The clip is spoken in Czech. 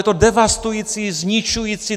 Je to devastující, zničující.